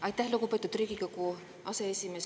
Aitäh, lugupeetud Riigikogu aseesimees!